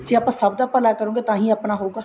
ਜੇ ਆਪਾਂ ਸਭ ਦਾ ਭਲਾ ਕਰਾਂਗੇ ਤਾਂਹੀ ਆਪਣਾ ਹੋਊਗਾ